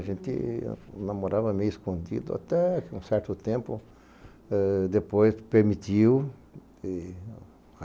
A gente namorava meio escondido, até que um certo tempo eh depois permitiu. E